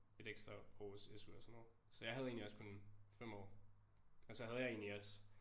Et ekstra års SU og sådan noget så jeg havde egentlig også kun 5 år og så havde jeg egentlig også